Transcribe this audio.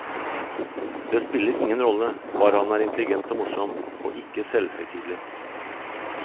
Det spiller ingen rolle, bare han er intelligent og morsom, og ikke selvhøytidelig.